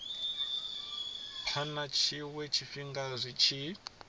phana tshiwe tshifhinga zwi tshi